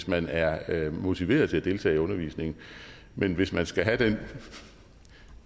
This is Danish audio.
man er er motiveret til at deltage i undervisningen men hvis man skal have den